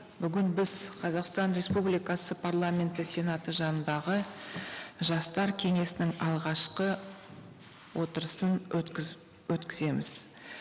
бүгін біз қазақстан республикасы парламенті сенаты жанындағы жастар кеңесінің алғашқы отырысын өткіземіз